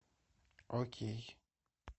окей